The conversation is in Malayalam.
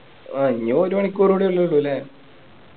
ഇനി ഒരു മണിക്കൂറുകൂടെ ഉള്ളൂല്ലേ